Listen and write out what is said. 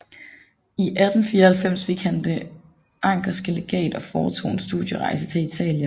I 1894 fik han Det anckerske Legat og foretog en studierejse til Italien